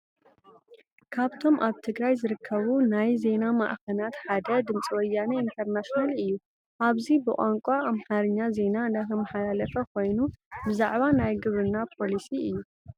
ካብቶም ኣብ ትግራይ ዝርከቡ ናይ ዜና ማዕኸናት ሓደ ድምፂ ወያነ ኢንተርናሽናል እዩ፡፡ ኣብዚ ብቋንቋ ኣማርኛ ዜና እንዳተማሓላለፈ ኮይኑ ብዛዕባ ናይ ግብርና ፖሊሲ እዩ፡፡